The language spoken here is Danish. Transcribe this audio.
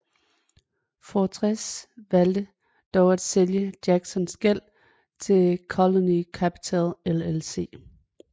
Fortress valgte dog at sælge Jacksons gæld til Colony Capital LLC